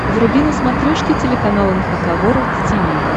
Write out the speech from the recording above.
вруби на смотрешке телеканал эн эйч кей волд ти ви